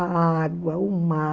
A água, o mar.